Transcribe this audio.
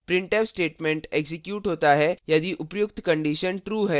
printf statement execute होता है यदि उपर्युक्त condition true है